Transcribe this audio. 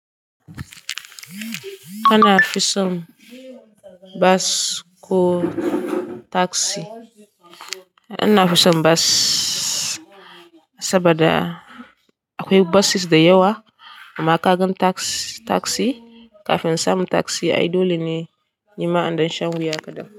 Ana fi son bas ko taksi? Ina fi son bas saboda akwai buses da yawa, amma ka gan taks, taksi kafin samun taksi, ai dole ne yi ma in ɗan shan wuya kaɗan.